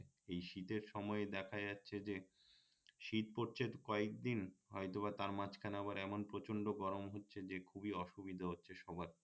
এই শীতের সময়ে দেখা যাচ্ছে যে শীত পড়ছে কয়েকদিন হয়তোবা তার মাঝখানে আবার এমন প্রচন্ড গরম হচ্ছে যে অসুবিধা হচ্ছে সবার